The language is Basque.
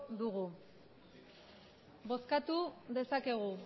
dugu bozkatu dezakegu